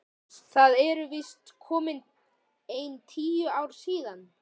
Það eru víst komin ein tíu ár síðan.